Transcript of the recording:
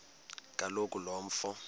kaloku lo mfo